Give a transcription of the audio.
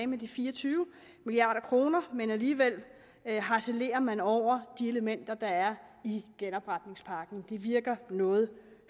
med de fire og tyve milliard kroner men alligevel harcelerer man over de elementer der er i genopretningspakken det virker noget